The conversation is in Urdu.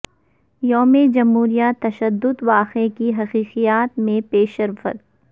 یوم جمہوریہ تشد د واقعہ کی تحقیقات میں پیشرفت